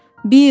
Bill!